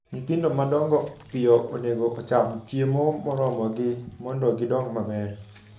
Nyithindo ma dongo piyo onego ocham chiemo moromogi mondo gidong maber.